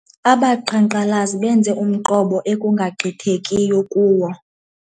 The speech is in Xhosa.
Abaqhankqalazi benze umqobo ekungagqithekiyo kuwo.